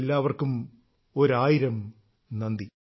എല്ലാവർക്കും ഒരായിരം നന്ദി